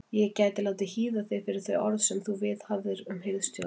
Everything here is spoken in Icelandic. Ég gæti látið hýða þig fyrir þau orð sem þú viðhafðir um hirðstjórann.